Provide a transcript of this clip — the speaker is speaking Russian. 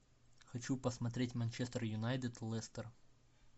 хочу посмотреть манчестер юнайтед лестер